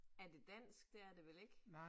Er det dansk, det er det vel ikke